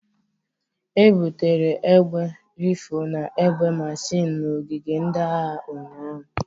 E butere egbe Rifụl na egbe mashin n'ogige ndị agha ụnyahụ.